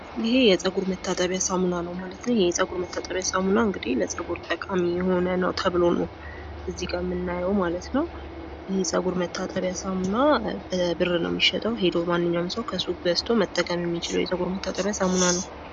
ይህ የጸጉር መታጠቢያ ሳሙና ነው። የጸጉር መታጠቢያ ሳሙና ለጸጉር የሚጠቅም ነው። ማንኛውም ሰው ገዝቶ ሊጠቀመው የሚችል ነው።